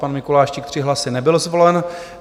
Pan Mikuláštík s 3 hlasy nebyl zvolen.